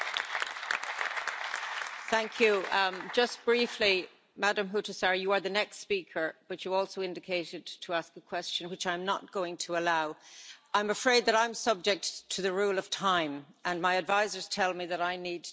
Just briefly, Ms Huhtasaari, you are the next speaker but you also indicated to ask a question, which I'm not going to allow. I'm afraid that I'm subject to the rule of time, and my advisers tell me that I need to discontinue the blue card system.